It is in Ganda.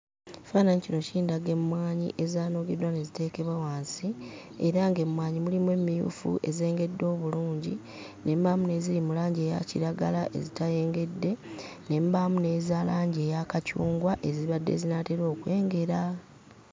Ekifaananyi kino kindaga emmwanyi ezaanogeddwa ne ziteekebwa wansi era ng'emmwanyi mulimu emmufu ezengedde obulungi, ne mubaamu n'eziri mu langi eya kiragala ezitayengedde, ne mubaamu n'eza langi eya kacungwa ezibadde zinaatera okwengera.